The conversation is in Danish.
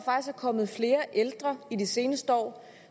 kommet flere ældre i de seneste år